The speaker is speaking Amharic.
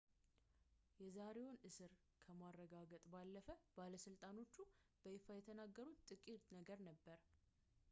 የዛሬውን እስር ከማረጋገጥ ባለፈ ባለስልጣኖቹ በይፋ የተናገሩት ጥቂት ነገር ነበር